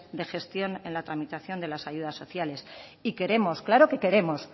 de gestión en la tramitación de las ayudas sociales y queremos claro que queremos